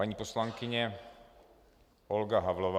Paní poslankyně Olga Havlová.